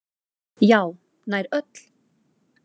Já, nær öll.